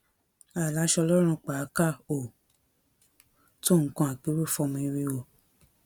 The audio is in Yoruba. àìlàsọ lọrùn pàákà ò tó nǹkan àpérò fọmọ eriwo